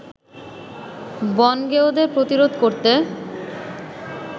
বনগেঁয়োদের প্রতিরোধ করতে